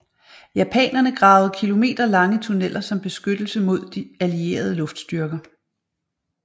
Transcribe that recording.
Japanerne gravede kilometerlange tunneler som beskyttelse mod de allierede luftstyrker